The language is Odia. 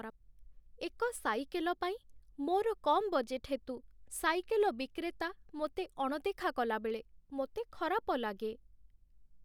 ଏକ ସାଇକେଲ ପାଇଁ ମୋର କମ୍ ବଜେଟ୍ ହେତୁ ସାଇକେଲ ବିକ୍ରେତା ମୋତେ ଅଣଦେଖା କଲାବେଳେ ମୋତେ ଖରାପ ଲାଗେ